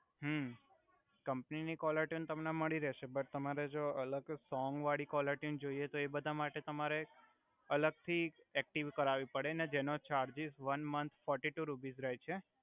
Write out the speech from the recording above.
હુ company ની caller tune તમને મળી રેહસે બટ તમારે જો કો સોંગ વાડી કોલર ટ્યુન જોઇએ તો એ બધા માટે તમારે એક અલગ થી એકટીવ કરાવી પડે ને જેનો charges one month forty two rupees રહે છે